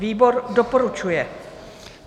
Výbor doporučuje.